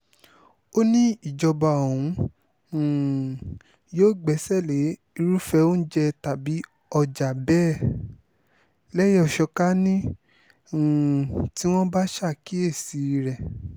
ó ní ìjọba òun um yóò gbẹ́sẹ̀ lé irúfẹ́ oúnjẹ tàbí ọjà bẹ́ẹ̀ lẹ́yẹ-ò-ṣọ́ká ní um tí àwọn bá ṣàkíyèsí rẹ̀